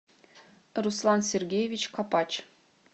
руслан сергеевич копач